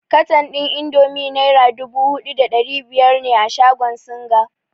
Katan ɗin indomi naira dubu huɗu da ɗari biyar ne a shagon singa.